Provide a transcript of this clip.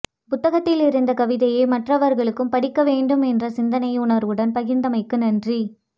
புத்தகத்தில் இருந்த கவிதையை மற்றவர்களும் படிக்க வேண்டும் என்ற சிந்தனை உணர்வுடன் பகிர்ந்தமைக்கு நன்றி